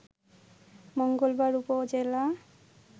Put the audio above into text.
মঙ্গলবার উপজেলা